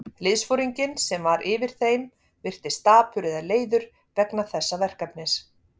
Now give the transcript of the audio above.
Liðsforinginn, sem var yfir þeim, virtist dapur eða leiður vegna þessa verkefnis.